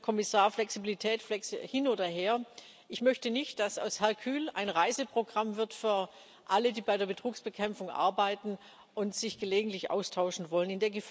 Und, Herr Kommissar Flexibilität hin oder her ich möchte nicht, dass aus Hercule ein Reiseprogramm wird für alle, die bei der Betrugsbekämpfung arbeiten und sich gelegentlich austauschen wollen.